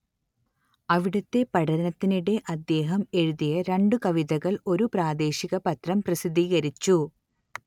അവിടത്തെ പഠനത്തിനിടെ അദ്ദേഹം എഴുതിയ രണ്ടു കവിതകൾ ഒരു പ്രാദേശിക പത്രം പ്രസിദ്ധീകരിച്ചു